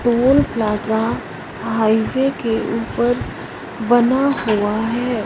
Toll plaza highway के ऊपर बना हुआ है।